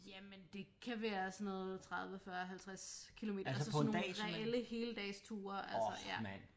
Jamen det kan være sådan noget 30 40 50 kilometer altså sådan nogle heldagsture ja